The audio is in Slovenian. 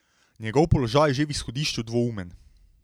Njegov položaj je že v izhodišču dvoumen.